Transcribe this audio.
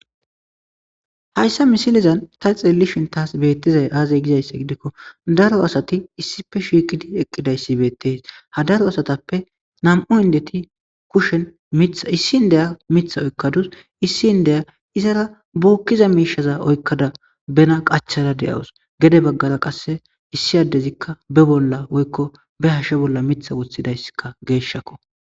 hayssa misilizan ta xeelishin taas beettizay aazay gizayssa gidikko daro asati issife shiikidi eqqidayssi beettees ha daro asatappe nam7u indeti kushen mitha issi n deya mitha oykkadus issi n deya izara buukkiza miishaza oykkada bena qachada de7awos gede baggara qasse issi addezikka be bolla woykko be hashe bolla mitha wothidayssika geeshshakko